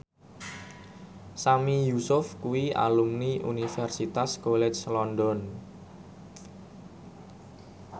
Sami Yusuf kuwi alumni Universitas College London